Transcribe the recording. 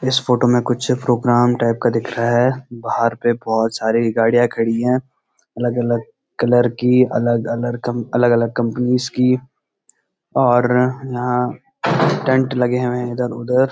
इस फोटो में कुछ प्रोगाम टाईप का दिख रहा है बाहर पे बहोत सारी गाडि़यां खड़ी हैं अलग-अलग कलर की अलग अलग कंप अलग अलग कंपनीज की और यहां टेंट लगे हुए हैं इधर उधर।